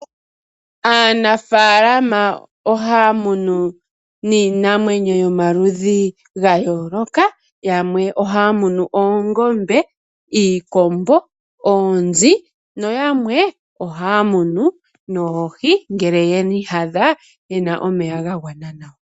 Aanafalama ohaya munu niinamwenyo yomaludhi ga yooloka. Yamwe ohaya munu oongombe, iikombo, oonzi noyamwe ohaya munu noohi ngele yi iyadha yena omeya ga gwana nawa.